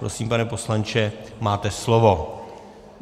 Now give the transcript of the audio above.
Prosím, pane poslanče, máte slovo.